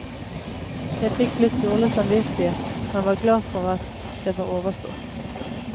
Jeg fikk litt dårlig samvittighet, men var glad for at det var overstått.